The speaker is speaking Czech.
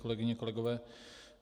Kolegyně, kolegové.